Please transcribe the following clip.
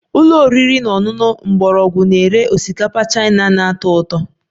Ụlọ oriri na ọṅụṅụ mgbọrọgwụ na-ere osikapa Chaina na-atọ ụtọ